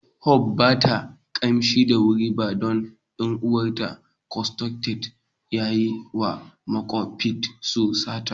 hope ba ta kimsa da wuri ba don ɗan'uwan ta " consanguine" ya yi wa makwapcin su sata.